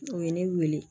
O ye ne wele